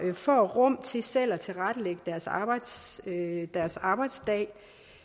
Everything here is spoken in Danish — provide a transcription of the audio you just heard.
får rum til selv at tilrettelægge deres arbejdsdag deres arbejdsdag